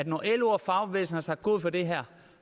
når lo og fagbevægelsen har sagt god for det her